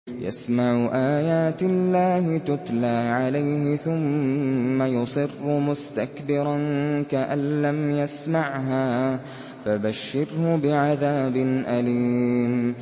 يَسْمَعُ آيَاتِ اللَّهِ تُتْلَىٰ عَلَيْهِ ثُمَّ يُصِرُّ مُسْتَكْبِرًا كَأَن لَّمْ يَسْمَعْهَا ۖ فَبَشِّرْهُ بِعَذَابٍ أَلِيمٍ